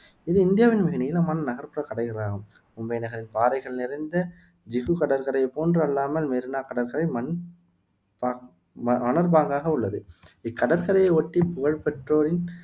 இது இந்தியாவின் மிக நீளமான நகர்ப்புற ஆகும் மும்பை நகரின் பாறைகள் நிறைந்த ஜுகு கடற்கரையைப் போன்று அல்லாமல் மெரீனா கடற்கரை மன் பா மணற்பாங்காக உள்ளது இக்கடற்கரையை ஒட்டி புகழ்பெற்றோரின்